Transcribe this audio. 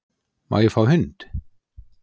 Má ég fá hund?